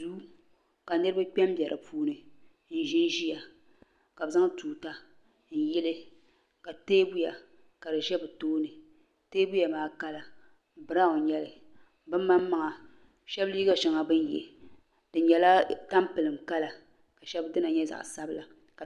duu ka niriba kpe m-be di puuni n-ʒi ʒiya ka bɛ zaŋ tuuta n-yeli ka teebuya ka di ʒe bɛ tooni teebuya maa kala biraun nyɛli bɛ maŋmaŋa shɛba liiga shɛŋa bɛ ye di nyɛla tampilim kala ka shɛba dina nyɛ zaɣ' sabila.